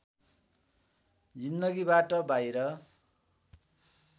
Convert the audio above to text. जिन्दगीबाट बाहिर